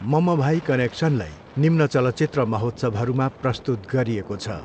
ममभाई कनेक्सनलाई निम्न चलचित्र महोत्सवहरूमा प्रस्तुत गरिएको छ।